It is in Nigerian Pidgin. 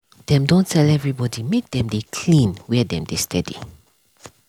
dem don tell everybody make dem dey clean where dem dey steady.